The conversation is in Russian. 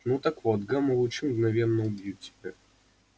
ну так вот гамма лучи мгновенно убьют тебя